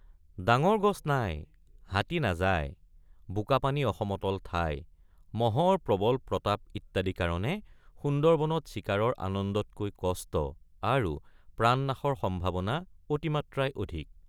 ডাঙৰ গছ নাই হাতী নাযায় বোকাপানী অসমতল ঠাই মহৰ প্ৰবল প্ৰতাপ ইত্যাদি কাৰণে সুন্দৰবনত চিকাৰৰ আনন্দতকৈ কষ্ট আৰু প্ৰাণনাশৰ সম্ভাৱনা অতিমাত্ৰাই অধিক।